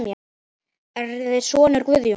Eruð þér sonur Guðjóns?